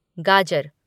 गाजर